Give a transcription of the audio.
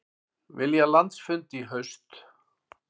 Vilja landsfund í haust